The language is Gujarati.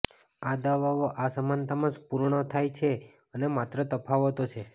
આ દવાઓ આ સમાનતા માં પૂર્ણ થાય છે અને માત્ર તફાવતો છે